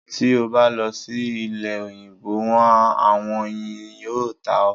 Ti o ba lọ si ile-oyinbo wọn, awọn oyin yoo ta ọ